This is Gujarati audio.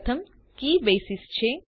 પ્રથમ કી બેસિસ છે